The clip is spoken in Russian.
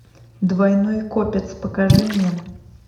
двойной копец покажи мне